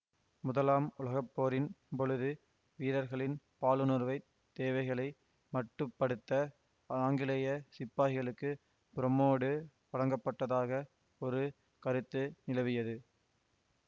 முதலாம் உலகப்போரின் பொழுது வீரர்களின் பாலுணர்வுத் தேவைகளை மட்டுப்படுத்த ஆங்கிலேய சிப்பாய்களுக்கு புரோமோடு வழங்கப்பட்டதாக ஒரு கருத்து நிலவியது